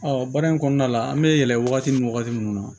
baara in kɔnɔna la an bɛ yɛlɛ wagati min wagati mun na